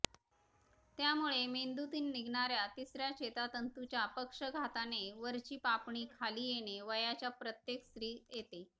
त्यामुळे मेंदूतून निघणार्या तिसर्या चेतातंतूच्या पक्षाघाताने वरची पापणी खाली येणे वयाच्या प्रत्येक स्त्री येते